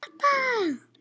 Aftur inn í stofu.